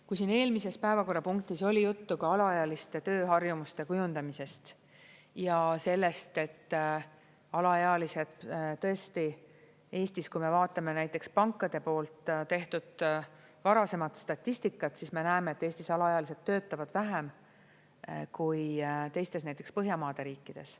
Kui siin eelmises päevakorrapunktis oli juttu ka alaealiste tööharjumuste kujundamisest ja sellest, et alaealised tõesti Eestis, kui me vaatame näiteks pankade poolt tehtud varasemat statistikat, siis me näeme, et Eestis alaealised töötavad vähem kui teistes, näiteks Põhjamaade riikides.